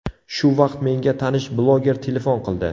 Shu vaqt menga tanish bloger telefon qildi.